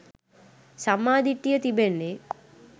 සම්මා දිට්ඨිය තිබෙන්නේ